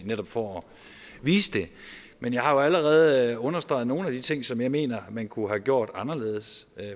netop for at vise det men jeg har jo allerede understreget nogle af de ting som jeg mener man kunne have gjort anderledes